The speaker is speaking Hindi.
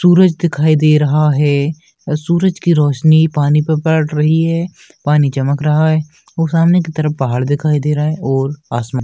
सूरज दिखाई दे रहा है। सूरज की रोशनी पानी पर पड़ रही है। पानी चमक रहा है और सामने की तरफ पहाड़ दिखाई दे रहे है और आसमान --